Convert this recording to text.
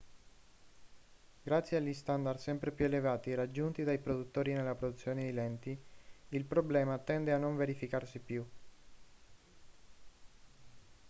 grazie agli standard sempre più elevati raggiunti dai produttori nella produzione di lenti il problema tende a non verificarsi più